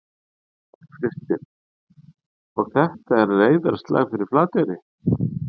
Kristinn: Og þetta er reiðarslag fyrir Flateyri?